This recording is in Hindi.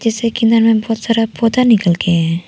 में बहोत सारा पौधा निकल के है।